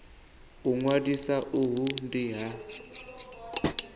u ṅwalisa uhu ndi ha